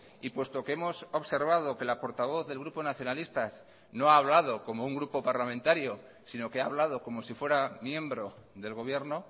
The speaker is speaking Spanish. y puesto que hemos observado que la portavoz del grupo nacionalistas no ha hablado como un grupo parlamentario sino que ha hablado como si fuera miembro del gobierno